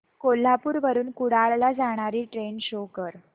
कोल्हापूर वरून कुडाळ ला जाणारी ट्रेन शो कर